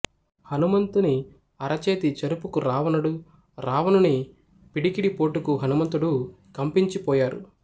హనుమంతుని అరచేతి చరుపుకు రావణుడు రావణుని పిడికిలి పోటుకు హనుమంతుడు కంపించిపోయారు